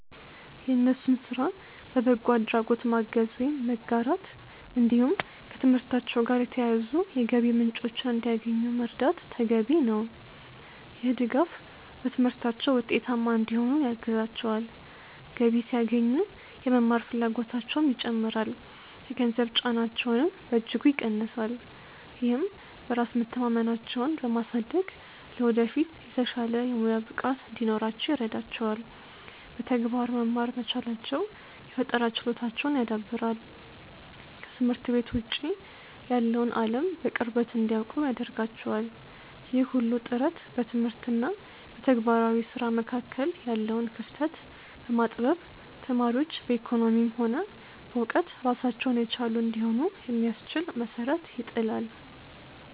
የእነሱን ስራ በበጎ አድራጎት ማገዝ ወይም መጋራት፣ እንዲሁም ከትምህርታቸው ጋር የተያያዙ የገቢ ምንጮችን እንዲያገኙ መርዳት ተገቢ ነው። ይህ ድጋፍ በትምህርታቸው ውጤታማ እንዲሆኑ ያግዛቸዋል፤ ገቢ ሲያገኙ የመማር ፍላጎታቸውም ይጨምራል፣ የገንዘብ ጫናቸውንም በእጅጉ ይቀንሳል። ይህም በራስ መተማመናቸውን በማሳደግ ለወደፊት የተሻለ የሙያ ብቃት እንዲኖራቸው ይረዳቸዋል። በተግባር መማር መቻላቸው የፈጠራ ችሎታቸውን ያዳብራል፤ ከትምህርት ቤት ውጭ ያለውን አለም በቅርበት እንዲያውቁ ያደርጋቸዋል። ይህ ሁሉ ጥረት በትምህርት እና በተግባራዊ ስራ መካከል ያለውን ክፍተት በማጥበብ ተማሪዎች በኢኮኖሚም ሆነ በእውቀት ራሳቸውን የቻሉ እንዲሆኑ የሚያስችል መሰረት ይጥላል።